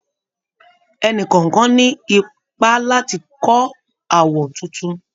Ẹnì kọ̀ọ̀kan ní ipá láti kọ́ àwọ̀ tuntun